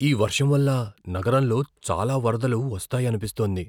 ఈ వర్షం వల్ల నగరంలో చాలా వరదలు వస్తాయనిపిస్తోంది.